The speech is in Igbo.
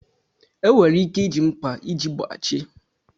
Enwere ike iji mkpa iji bachie.